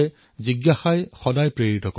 জিজ্ঞাসাই আপোনাক নিৰন্তৰে অনুপ্ৰাণিত কৰে